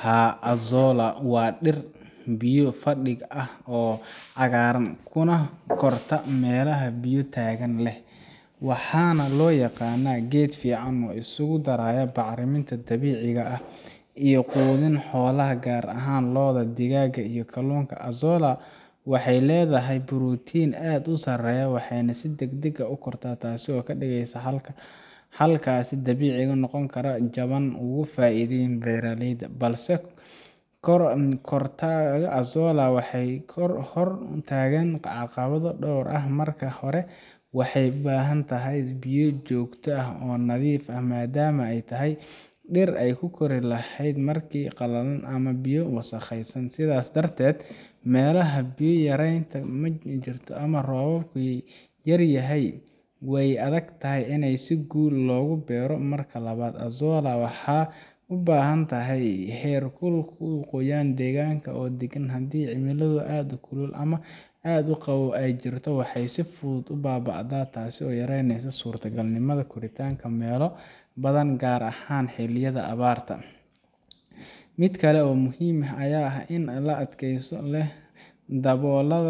Haa azolla waa dhir biyo fadhiga ah oo cagaaran kuna korta meelaha biyo taagan leh waxaana loo yaqaanaa geed si fiican isugu daraya bacriminta dabiiciga ah iyo quudin xoolaha gaar ahaan lo’da digaaga iyo kalluunka azolla waxay leedahay borotiin aad u sarreeya waxayna si degdeg ah u kortaa taas oo ka dhigaysa xalkaas dabiici ah oo qiimo jaban ugu fadhiya beeraleyda balse kortaaka azolla waxaa hor taagan caqabado dhowr ah marka hore waxay u baahan tahay biyo joogto ah oo nadiif ah maadaama ay tahay dhir aan ku kori karin meel qalalan ama biyo wasakhaysan sidaas darteed meelaha biyo yaraanta ka jirto ama roobku yaryahay way adagtahay in si guul leh loogu beero marka labaad azolla waxay u baahan tahay heerkul iyo qoyaanka deegaanka oo deggan haddii cimilo aad u kulul ama aad u qabow ay jirto waxay si fudud u baaba’daa taasoo yareyneysa suurtogalnimada koritaankeeda meelo badan gaar ahaan xilliyada abaarta mid kale oo muhiim ah ayaa ah in ay si dhakhso leh u daboola